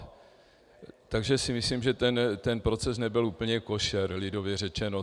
Takže si myslím, že ten proces nebyl úplně košer, lidově řečeno.